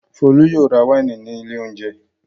Folú yóò ra wáìnì ní ilé-oúnjẹ.